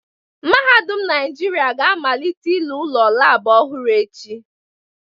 Mahadum Naijiria ga amalite ịlụ ụlọ laabụ ọhụrụ echi